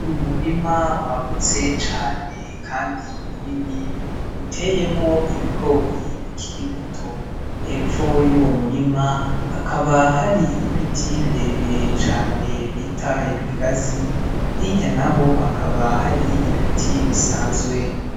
Umurima wagutse cane kandi munini uteyemwo ibigori bikiri bitoto. Hepfo y'uwo murima hakaba hari ibiti birebire cane bita ibigazi, hirya na ho hakaba hari ibiti bisanzwe.